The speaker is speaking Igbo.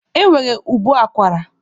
E nwere ụbọ akwara.